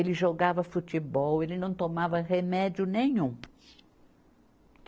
Ele jogava futebol, ele não tomava remédio nenhum.